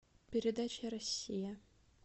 передача россия